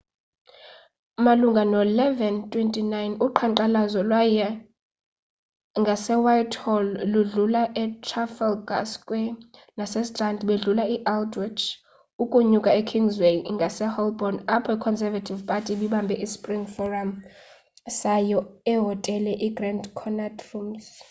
malunga no-11:29 uqhankqalazo lwaya ngasewhitehall ludlula etrafalgar square nasestrand badlula e-aldwaych ukunyuka ekingsway ngase holborn apho iconservative party ibibambe ispring forum sayo ehotele igrand connaught rooms